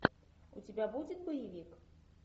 у тебя будет боевик